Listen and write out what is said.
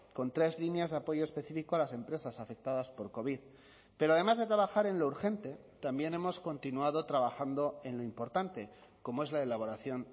con tres líneas de apoyo específico a las empresas afectadas por covid pero además de trabajar en lo urgente también hemos continuado trabajando en lo importante como es la elaboración